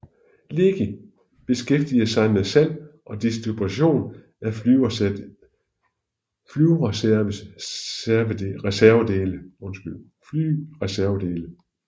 Leki beskæftiger sig med salg og distribution af flyreservedele